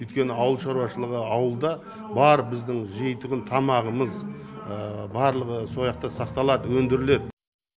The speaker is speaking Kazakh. өйткені ауыл шаруашылығы ауылда бар біздің жейтұғын тамағымыз барлығы сақталады өндіріледі